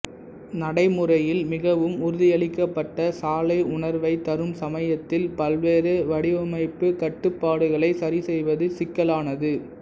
நடைமுறையில் மிகவும் உறுதியளிக்கப்பட்ட சாலை உணர்வைத் தரும் சமயத்தில் பல்வேறு வடிவமைப்புக் கட்டுப்பாடுகளை சரிசெய்வது சிக்கலானது